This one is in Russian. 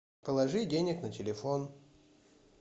положи денег на телефон